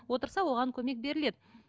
отырса оған көмек беріледі